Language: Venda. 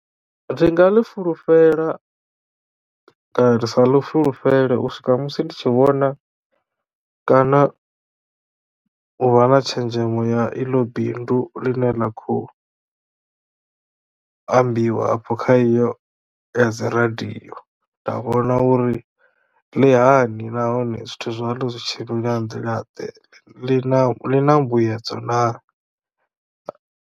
Ndi nga ḽi fulufhela kana ri sa ḽi fulufhele u swika musi ndi tshi vhona kana u vha na tshenzhemo ya iḽo bindu ḽi ne ḽa khou ambiwa afho kha iyo ya dzi radio nda vhona uri ḽi hani nahone zwithu zwalo zwi tshimbila nga nḓila ḽi na ḽi na mbuyedzo naa.